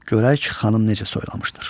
Görək Xanım necə soylamışdır.